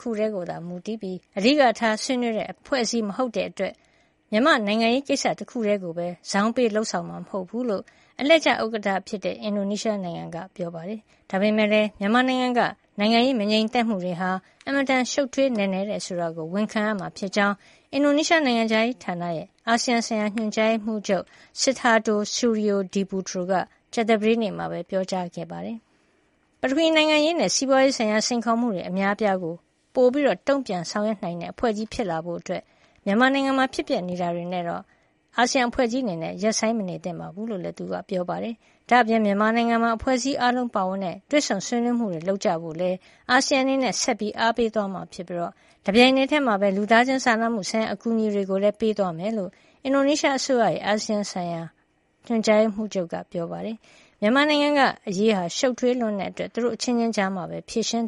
ခုတည်းကိုသာ မူတည်ပြီး အဓိကထား ဆွေးနွေးတဲ့အဖွဲ့အစည်း မဟုတ်တဲ့အတွက် မြန်မာနိုင်ငံရေးကိစ္စကိုပဲ ဇောင်းပေးလုပ်ဆောင်မှာ မဟုတ်ဘူးလို့ အလှည့်ကျ ဥက္ကဌ အင်ဒိုနီးရှားနိုင်ငံ က ပြောပါတယ်။ ဒါပေမယ့်လည်း မြန်မာနိုင်ငံက နိုင်ငံရေး မငြိမ်မသက်မှုတွေဟာ အင်မတန် ရှုပ်ထွေးနက်နဲတယ်ဆိုတာကိုတော့ ဝန်ခံရမှာဖြစ်ကြောင်း မကြာသေးခင်က အင်ဒိုနီးရှားနိုင်ငံခြားရေးဌာနရဲ့ အာဆီယံဆိုင်ရာ ညွှန်ကြားရေးမှူးချုပ် Sidharto R Suryodiputro ပြောပါတယ်။ ပထဝီ နိုင်ငံရေး နဲ့ စီးပွာရေးဆိုင်ရာ စိန်ခေါ်မှုတွေ အများအပြားကို ပိုမိုတုံ့ပြန်ဆောင်ရွက်တဲ့ အဖွဲ့ကြီးဖြစ်လာဖို့အတွက် မြန်မာနိုင်ငံမှာ ဖြစ်ပျက်နေတာတွေနဲ့တော့ အာဆီယံအဖွဲ့ကြီးအနေနဲ့ ရပ်ဆိုင်းမနေသင့်ဘူးလို့ သူကပြောပါတယ်။ ဒါအပြင် မြန်မာနိုင်ငံမှာ အဖွဲ့အစည်း အားလုံးပါဝင်ကြတဲ့ တွေ့ဆုံဆွေးနွေးမှုတွေ လုပ်ဆောင်ကြဖို့ အာဆီယံအနေနဲ့ ဆက်လက် အားပေးသွားမှာဖြစ်ပြီး တပြိုင်တည်းမှာပဲ လူသားချင်းစာနာမှုဆိုင်ရာ အကူအညီတွေကိုလည်း ပေးသွားမယ်လို့ အင်ဒိုနီးရှားနိုင်ငံခြားရေးဌာနရဲ့ အာဆီယံဆိုင်ရာ ညွှန်ကြားရေးမှူးချုပ် Sidharto R Suryodiputro က ပြောပါတယ်။ မြန်မာနိုင်ငံရေးက ရှုပ်ထွေးလွန်းတဲ့အတွက် သူတို့အချင်းချင်းကြားမှာပဲ ဖြေရှင်